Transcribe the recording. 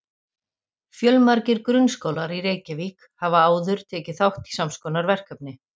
Fjölmargir grunnskólar í Reykjavík hafa áður tekið þátt í sams konar verkefni.